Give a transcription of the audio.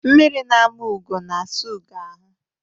Mmiri na-ama ugo na-asa ugo ahụ.